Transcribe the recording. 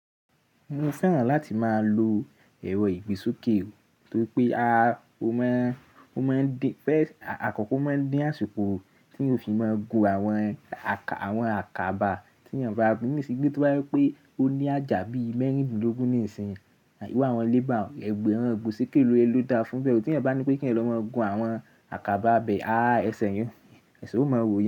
Mo fẹ́ràn láti máa lo èrò ìgbésùkè torí pé a, ó máa ń, ó máa ń dín, pé àkọ́kọ́ ó máa ń dín àsìkò tí ó fi máa ń gun àwọn àkàbà tí ènìyàn bá gbin ní sìgbé tó bá rí pé ó ní àjà bí i mẹ́rìndínlógún nísìnyìí, àbí wá àwọn lé bá òun, ẹgbẹ́ àwọn ìgbésùkè ló da fún bẹ́ẹ̀. Tí ẹni bá ní pé kí ẹ lọ máa gun àwọn àkàbà abẹ́, àá ẹ ṣẹ̀ yẹn, èṣó máa wò yó.